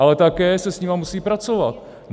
Ale také se s nimi musí pracovat.